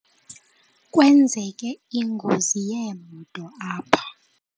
Kwenzeke ingozi yeemoto apha.